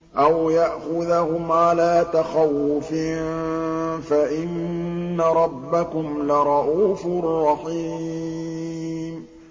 أَوْ يَأْخُذَهُمْ عَلَىٰ تَخَوُّفٍ فَإِنَّ رَبَّكُمْ لَرَءُوفٌ رَّحِيمٌ